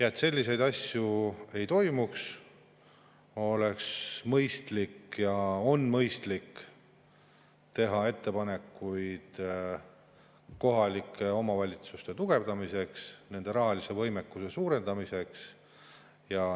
Et selliseid asju ei toimuks, oleks ja on mõistlik teha ettepanekuid kohalike omavalitsuste tugevdamiseks, nende rahalise võimekuse suurendamiseks.